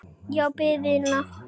Og biðina.